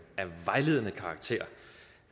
af vejledende karakter